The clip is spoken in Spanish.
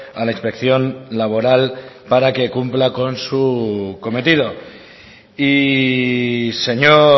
a la inspección laboral para que cumpla con su cometido y señor